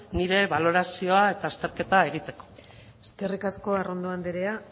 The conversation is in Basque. nire balorazioa eta azterketa egiteko eskerrik asko arrondo andrea